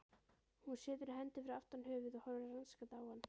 Hún setur hendur aftur fyrir höfuð og horfir rannsakandi á